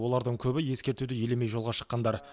олардың көбі ескертуді елемей жолға шыққандар